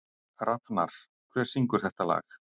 Rafnar, hver syngur þetta lag?